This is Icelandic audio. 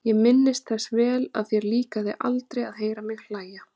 Ég minnist þess vel að þér líkaði aldrei að heyra mig hlæja.